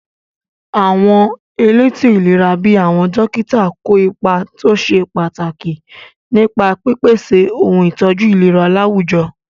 Àwọn elétò ìlera bíi àwọn dókítà kó ipa tó ṣe pàtàkì nípa pípèsè ohun ìtọ́jú ìlera láwùjọ.